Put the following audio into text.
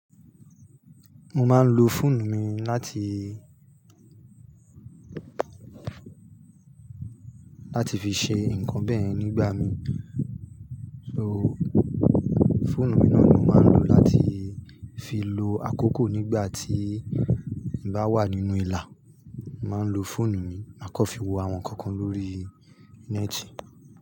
Mo máa ń lo fóònù mi láti, láti fi ṣe nǹkan bẹ́ẹ̀ nígbà mí, so fóònù mi náà ni mo máa ń lò láti fi lo àkókò nígbà tí n bá wà nínú ìlà. Màá ń lo fóònù mi, màá kọ́ fi wo àwọn ǹkan kan lórí ńẹ́ẹ́tì.